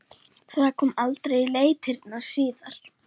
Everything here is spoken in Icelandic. Það kom aldrei í leitirnar síðar.